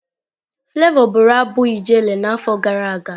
Flavour bụrụ abụ Ijele n'afọ gara aga.